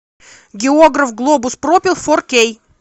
географ глобус пропил фор кей